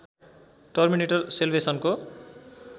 terminator सेल्वेसनको